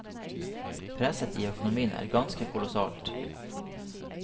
Presset i økonomien er ganske kolossalt.